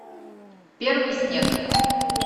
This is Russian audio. первый снег